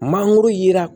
Mangoro yera